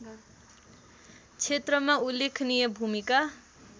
क्षेत्रमा उल्लेखनीय भूमिका